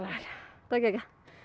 geggjað